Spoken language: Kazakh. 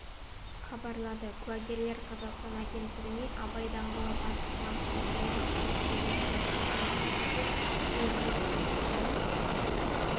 хабарлады куәгерлер қазақстан агенттігіне абай даңғылымен батыс бағытта келе жатқан жүргізушінің сөзіне сүйенсек тілендиев көшесіне